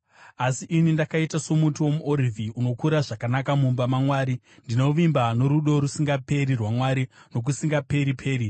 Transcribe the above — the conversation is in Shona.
Asi ini ndakaita somuti womuorivhi unokura zvakanaka mumba maMwari; ndinovimba norudo rusingaperi rwaMwari, nokusingaperi-peri.